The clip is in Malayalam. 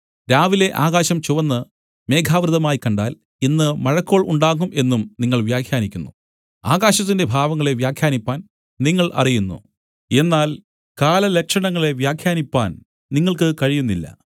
രാവിലെ ആകാശം ചുവന്ന് മേഘാവൃതമായി കണ്ടാൽ ഇന്ന് മഴക്കോൾ ഉണ്ടാകും എന്നും നിങ്ങൾ വ്യാഖ്യാനിക്കുന്നു ആകാശത്തിന്റെ ഭാവങ്ങളെ വ്യാഖ്യാനിപ്പാൻ നിങ്ങൾ അറിയുന്നു എന്നാൽ കാലലക്ഷണങ്ങളെ വ്യാഖാനിപ്പാൻ നിങ്ങൾക്ക് കഴിയുന്നില്ല